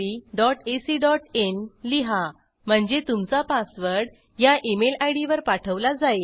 jokeriitbacin लिहा म्हणजे तुमचा पासवर्ड ह्या इमेल इद वर पाठवला जाईल